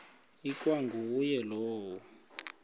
ikwa nguye lowo